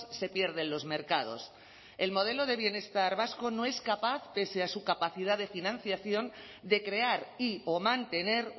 se pierde en los mercados el modelo de bienestar vasco no es capaz pese a su capacidad de financiación de crear y o mantener